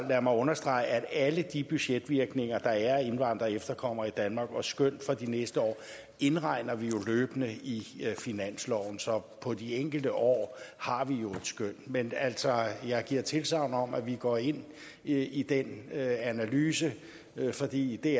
mig understrege at alle de budgetvirkninger der er af indvandrere og efterkommere i danmark og skøn for de næste år indregner vi løbende i finansloven så på de enkelte år har vi jo et skøn men altså jeg giver tilsagn om at vi går ind i i den analyse fordi det